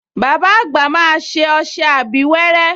Bàbá àgbà máa ṣe ọṣẹ abíwẹ́rẹ́